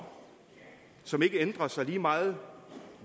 som ikke ændrer sig lige meget